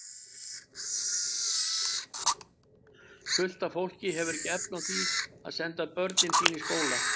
Fullt af fólki hefur ekki efni á því að senda börnin sín í skóla.